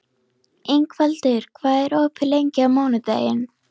Ingvaldur, hvað er opið lengi á mánudaginn?